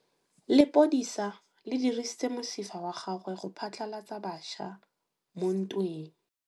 Lepodisa le dirisitse mosifa wa gagwe go phatlalatsa batšha mo ntweng.